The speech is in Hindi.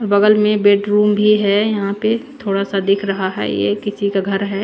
बगल में बेडरूम भी है यहां पे थोडा सा दिख रहा है ये किसी का घर है।